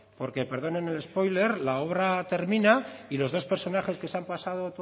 porque perdóneme el spoiler la obra terminado y los personas que se han pasado